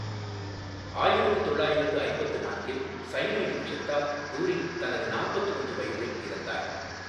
ஆயிரத்து தொள்ளாயிரத்து ஐம்பத்து நான்கில், சயனைடு விஷத்தால் டூரிங் தனது நாற்பத்து ஒன்று வயதில் இறந்தார்.